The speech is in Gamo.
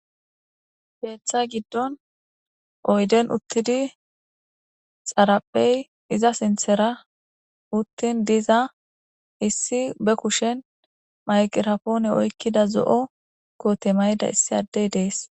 Keeththa giddon oyden uttidi xaraphey iza sinthera uttin diza issi be kushen mayqirapoone oykkida zo'o koote mayda issi addey dees.